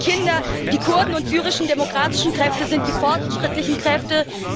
Die Kurden und die Syrischen Demokratischen Kräfte sind die fortschrittlichen Kräfte.